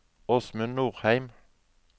Åsmund Norheim